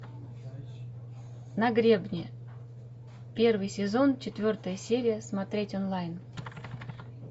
на гребне первый сезон четвертая серия смотреть онлайн